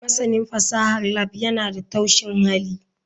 Masanin fasahar lab yana da taushin hali.